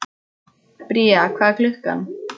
Bría, hvað er klukkan?